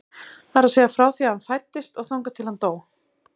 Það er að segja frá því að hann fæddist og þangað til að hann dó.